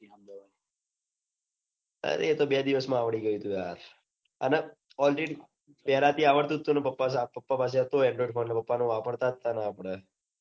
અરે એતો બે દિવસ માં આવડી ગયું. તું યાર આના already પેલા થી આવડતું જ હતું. અને પાપા પાસે હતો. android phone ને પાપા નો વાપરતા ને આપડ